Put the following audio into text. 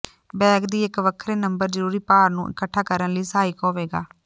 bag ਦੀ ਇੱਕ ਵੱਖਰੇ ਨੰਬਰ ਜ਼ਰੂਰੀ ਭਾਰ ਨੂੰ ਇਕੱਠਾ ਕਰਨ ਲਈ ਸਹਾਇਕ ਹੋਵੇਗਾ